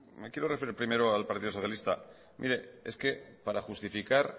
me quiero referir primero al partido socialista mire es que para justificar